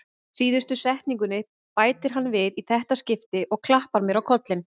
Síðustu setningunni bætir hann við í þetta skipti og klappar mér á kollinn.